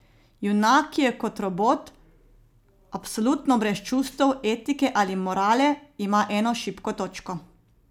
Junak, ki je kot robot, absolutno brez čustev, etike ali morale, ima eno šibko točko.